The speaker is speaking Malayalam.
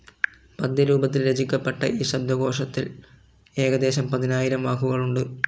പദ്യരൂപത്തിൽ രചിക്കപ്പെട്ട ഈ ശബ്ദകോശത്തിൽ ഏകദേശം പതിനായിരം വാക്കുകളുണ്ട്.